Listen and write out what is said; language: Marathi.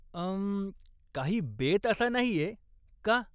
उं, काही बेत असा नाहीय, का?